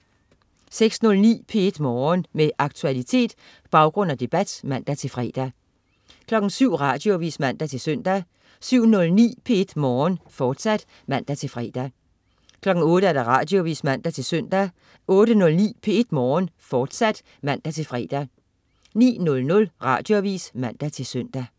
06.09 P1 Morgen. Med aktualitet, baggrund og debat (man-fre) 07.00 Radioavis (man-søn) 07.09 P1 Morgen, fortsat (man-fre) 08.00 Radioavis (man-søn) 08.09 P1 Morgen, fortsat (man-fre) 09.00 Radioavis (man-søn)